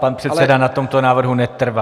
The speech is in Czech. Pan předseda na tomto návrhu netrvá.